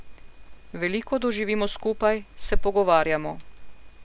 Veliko doživimo skupaj, se pogovarjamo.